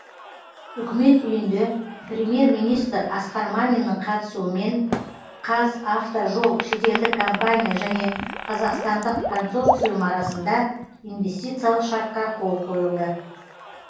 үкімет үйінде премьер министр асқар маминнің қатысуымен қазавтожол шетелдік компания және қазақстандық консорциум арасында инвестициялық шартқа қол қойылды